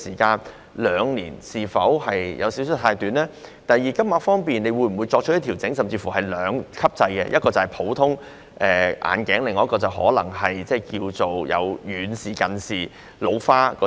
第二，當局會否在金額方面作出調整，例如實施兩級制，一級是普通眼鏡，另一級是遠視、近視或老花眼鏡？